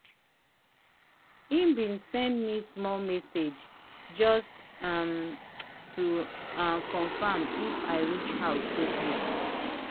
he been send me small message just um to um confirm if i reach house safely.